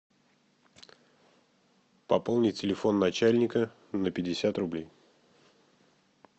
пополнить телефон начальника на пятьдесят рублей